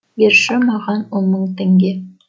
берші маған он мың теңге